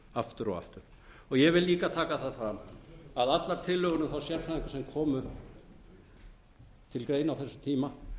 aftur og aftur og ég vil líka taka fram að allar tillögur um þá sérfræðinga sem komu til greina á þessum tíma